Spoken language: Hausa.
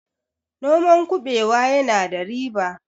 noman kubewa yana da riba